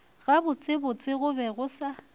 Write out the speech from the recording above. gabotsebotse go be go sa